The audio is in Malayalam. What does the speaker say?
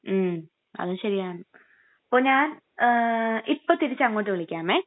മ്..അത് ശരിയാണ്.അപ്പൊ ഞാൻ...ങാ...ഇപ്പൊ തിരിച്ചങ്ങോട്ട് വിളിക്കാമെ.